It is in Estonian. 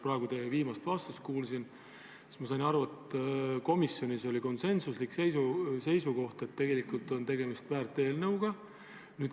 Kui ma teie viimast vastust kuulsin, siis ma sain aru, et komisjonis oli konsensuslik seisukoht, et tegemist on väärt eelnõuga.